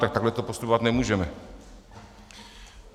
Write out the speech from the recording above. Tak takhle tu postupovat nemůžeme.